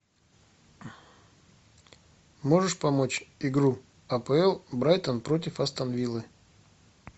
можешь помочь игру апл брайтон против астон виллы